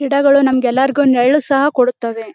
ಗಿಡಗಳು ನಮಗೆಲ್ಲರಿಗೂ ನೆರಳು ಸಹ ಕೊಡುತ್ತದೆ.